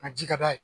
A ji ka d'a ye